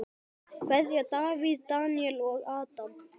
Kveðja: Davíð, Daníel og Adam.